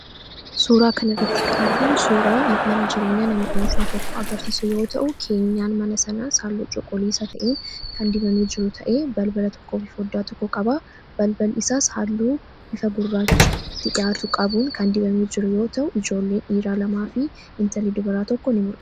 Suraa kan irratti kan arginuu suuraa mana jireenyaa nama dhunfaa tokko agarsiisu yoo ta'u keenyaan mana sana haalluu cuquliisaa ta'en kan dibamee jiru ta'ee balbala tokko fi foddaa tokko qabaa balbal isaa haalluu bifa gurraachati dhiyaatu qabuun kan dibamee jiru yoo ta'u ijoolleen dhiiraa lamaa fi intalli dubaraa tokko in mul'atu.